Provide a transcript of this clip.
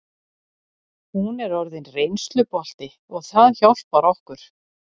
Hún er orðin reynslubolti og það hjálpar okkur.